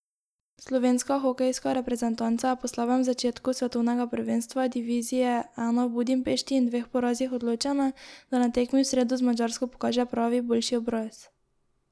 Slovenska hokejska reprezentanca je po slabem začetku svetovnega prvenstva divizije I v Budimpešti in dveh porazih odločena, da na tekmi v sredo z Madžarsko pokaže pravi, boljši obraz.